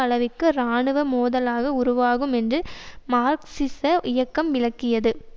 அளவிற்கு இராணுவ மோதலாக உருவாகும் என்று மார்க்சிச இயக்கம் விளக்கியது